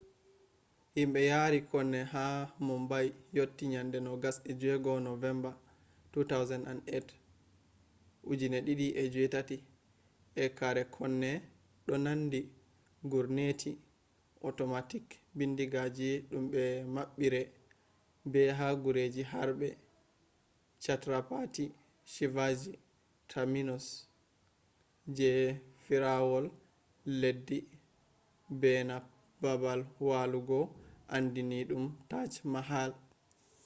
himbe yaarii konne haa mumbai yotti yande 26 novemba 2008 ee karee konne do nanndi gurneti otomatic bindigaaji dum be mabbiree be ha gureji harbe chhatrapati shivaji terminus je fiirawol leddi beena babal walugo aandiininum taj mahal